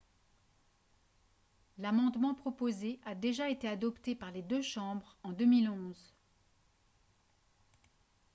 l'amendement proposé a déjà été adopté par les deux chambres en 2011